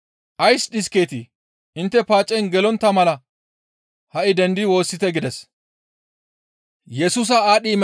«Ays dhiskeetii? Intte paacen gelontta mala ha7i dendidi woossite» gides.